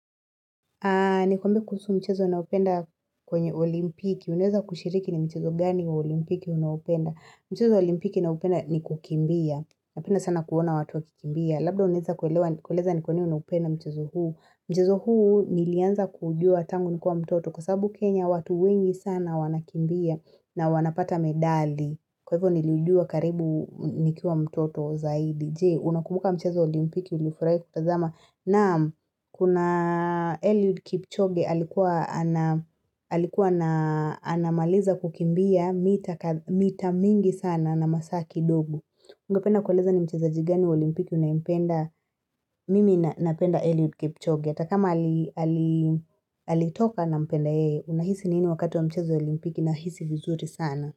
Nikwambie kuhusu mchezo ninaupenda kwenye olimpiki. Unaweza kushiriki ni mchezo gani olimpiki unaopenda. Mchezo olimpiki ninaupenda ni kukimbia. Napenda sana kuona watu wa kikimbia. Labda unaweza kueleza ni kwa nini unaupenda mchezo huu. Mchezo huu nilianza kuujua tangu nikiwa mtoto. Kwasababu Kenya watu wengi sana wanakimbia na wanapata medali. Kwa hivyo niliujua karibu nikiwa mtoto zaidi. Je, unakuubuka mchezo wa olimpiki uliofurahi kutazama. Na kuna Eliud Kipchoge alikuwa na maliza kukimbia mita mingi sana na masaa kidogo. Ungependa kueleza ni mcheza jigani wa olimpiki unayempenda, mimi napenda Eliud Kipchoge. hAtakama alitoka na mpenda ye, unahisi nini wakati wa mchezo wa olimpiki nahisi vizuri sana.